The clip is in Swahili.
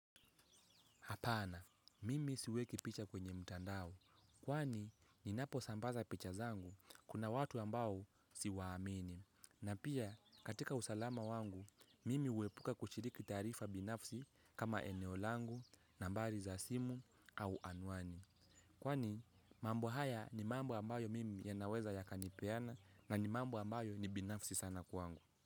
Apana, mimi siweki picha kwenye mtandao. Kwani, ninapo sambaza picha zangu, kina watu ambao siwaamini. Na pia, katika usalama wangu, mimi huepuka kushiriki taarifa binafsi kama eneo langu nambari za simu au anuani. Kwani, mambo haya ni mambo ambayo mimi yanaweza yakanipeana na ni mambo ambayo ni binafsi sana kwangu.